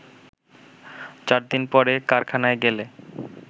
চারদিন পরে কারখানায় গেলে